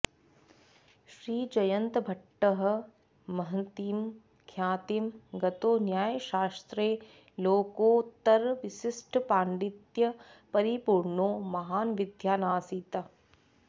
श्रीजयन्तभट्टः महतीं ख्यातिं गतो न्यायशास्त्रे लोकोत्तरविशिष्टपाण्डित्य परिपूर्णो महान् विद्वानासीत्